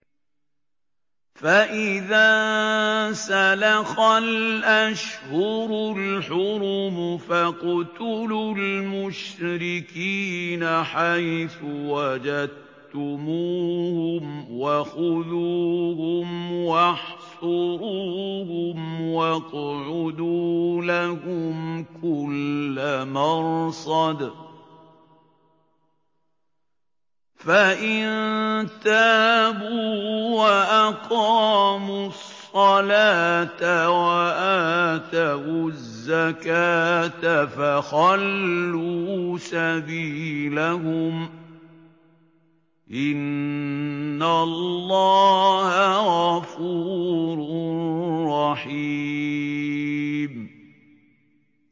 فَإِذَا انسَلَخَ الْأَشْهُرُ الْحُرُمُ فَاقْتُلُوا الْمُشْرِكِينَ حَيْثُ وَجَدتُّمُوهُمْ وَخُذُوهُمْ وَاحْصُرُوهُمْ وَاقْعُدُوا لَهُمْ كُلَّ مَرْصَدٍ ۚ فَإِن تَابُوا وَأَقَامُوا الصَّلَاةَ وَآتَوُا الزَّكَاةَ فَخَلُّوا سَبِيلَهُمْ ۚ إِنَّ اللَّهَ غَفُورٌ رَّحِيمٌ